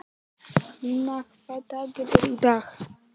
Lína, hvaða dagur er í dag?